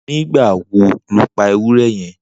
Nigbà wò ló pà éwùrè yèn?